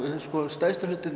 stærsti hlutinn